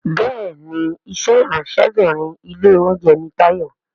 Béèni iṣé Ìráńṣẹ́bìnrin ilé-oúnjẹ ní Tayo.